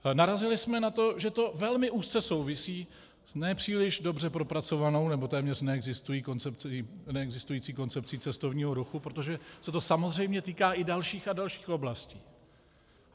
Narazili jsme na to, že to velmi úzce souvisí s nepříliš dobře propracovanou, nebo téměř neexistující koncepcí cestovního ruchu, protože se to samozřejmě týká i dalších a dalších oblastí.